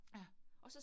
Ja